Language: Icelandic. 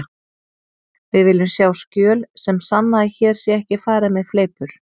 Við viljum sjá skjöl sem sanna að hér sé ekki farið með fleipur.